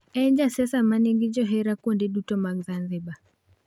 En jasiasa ma nigi johera kuonde duto mag Zanzibar.